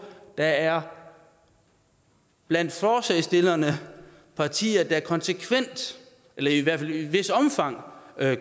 der er blandt forslagsstillerne partier der konsekvent eller i hvert fald i et vist omfang